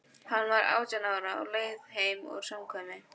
Hann var átján ára, á leið heim úr samkvæmi.